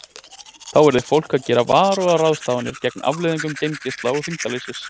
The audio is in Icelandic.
Þá yrði fólk að gera varúðarráðstafanir gegn afleiðingum geimgeisla og þyngdarleysis.